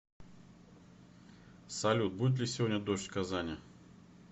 салют будет ли сегодня дождь в казани